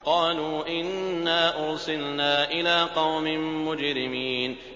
قَالُوا إِنَّا أُرْسِلْنَا إِلَىٰ قَوْمٍ مُّجْرِمِينَ